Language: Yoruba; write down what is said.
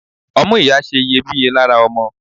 Ọmú ìyá ṣe iyebíye lára ọmọ.